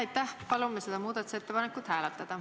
Aitäh!